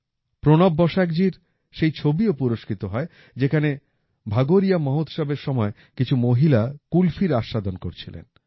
প্রণব বসাকজির সেই ছবিও পুরস্কৃত হয় যেখানে ভাগোরিয়া মহোৎসব এর সময় কিছু মহিলা কুলফির আস্বাদন করছিলেন